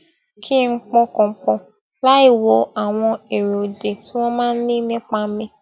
kí n pọkàn pò láìwo àwọn èrò òdì tí wón máa ń ní nípa mi